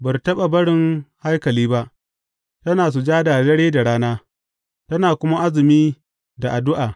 Ba ta taɓa barin haikali ba, tana sujada dare da rana, tana kuma azumi da addu’a.